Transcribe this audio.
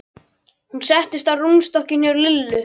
Hún settist á rúmstokkinn hjá Lillu.